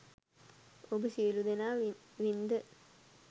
ඔබ සියළුදෙනා වින්ද